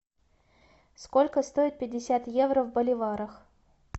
сколько стоит пятьдесят евро в боливарах